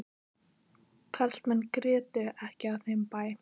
Karlmenn grétu ekki á þeim bæ.